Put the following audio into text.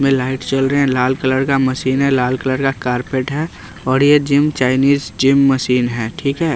में लाइट चल रहे हैं लाल कलर का मशीन है लाल कलर का कार्पेट है और ये जिम चाइनीज जिम मशीन है ठीक है।